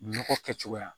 Nɔgɔ kɛcogoya